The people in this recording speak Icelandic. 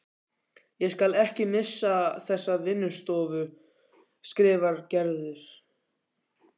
Ég skal ekki missa þessa vinnustofu skrifar Gerður.